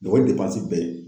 bɛɛ ye.